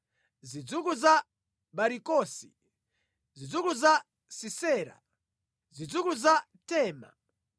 zidzukulu za Barikosi, zidzukulu za Sisera, zidzukulu za Tema,